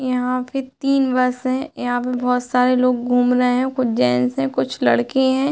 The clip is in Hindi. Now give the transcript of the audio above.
यहां पर तीन बस है। यहां पर बहोत सारे लोग घूम रहे हैं। कुछ जेंट्स हैं। कुछ लड़के हैं।